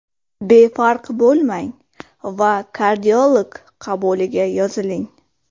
Befarq bo‘lmang va kardiolog qabuliga yoziling.